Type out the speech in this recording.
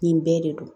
Nin bɛɛ de don